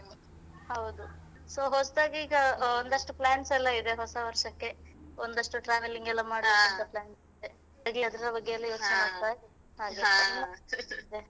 ಹೌದು so ಹೊಸ್ತಾಗಿ ಈಗ ಒಂದಷ್ಟು plans ಎಲ್ಲ ಇದೆ ಹೊಸವರ್ಷಕ್ಕೆ ಒಂದಷ್ಟು traveling ಎಲ್ಲ ಮಾಡ್ಬೇಕಂತ plan ಇರ್ಲಿ ಅದರ ಬಗ್ಗೆ ಎಲ್ಲ ಯೋಚನೆ ಮಾಡ್ತಾ ಇದ್ದೇನೆ .